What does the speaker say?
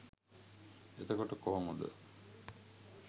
එතකොට කොහොමද